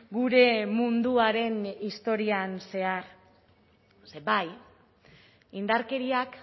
gure munduaren historian zehar bai indarkeriak